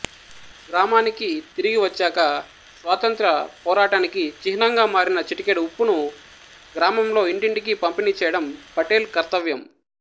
గ్రామానికి తిరిగివచ్చాక స్వాతంత్ర్య పోరాటానికి చిహ్నంగా మారిన చిటికెడు ఉప్పును గ్రామంలో ఇంటింటికీ పంపిణీ చేయడం పటేల్ కర్తవ్యం